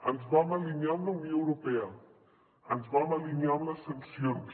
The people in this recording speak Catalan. ens vam alinear amb la unió europea ens vam alinear amb les sancions